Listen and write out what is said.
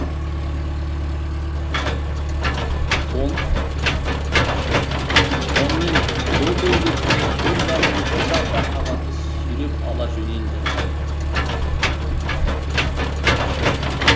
сонымен көк өгізді көк жазулы бір жапырақ қағаз сүйреп ала жөнелді